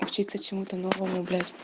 учиться чему то новому блять